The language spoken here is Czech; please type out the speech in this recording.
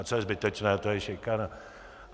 A co je zbytečné, to je šikana.